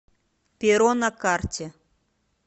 перо на карте